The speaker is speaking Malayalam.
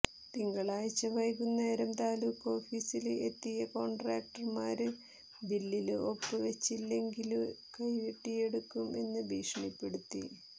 തിങ്കളാഴ്ച വൈകുനേരം താലൂക്ക് ഓഫീസില് എത്തിയ കോണ്ട്രോക്ടര്മാര് ബില്ലില് ഒപ്പ് വെച്ചിലെങ്കില് കൈ വെട്ടിയെടുക്കും എന്ന് ഭീഷണിപ്പെടുത്തി